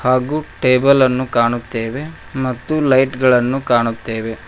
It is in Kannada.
ಹಾಗು ಟೇಬಲ್ ಅನ್ನು ಕಾಣುತ್ತೇವೆ ಮತ್ತು ಲೈಟ್ ಗಳನ್ನು ಕಾಣುತ್ತೇವೆ.